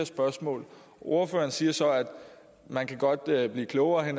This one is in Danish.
spørgsmål ordføreren siger så at man godt kan blive klogere i